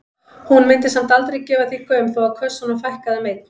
Hún mundi samt aldrei gefa því gaum þó að kössunum fækkaði um einn.